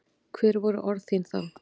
Hver voru orð þín þá?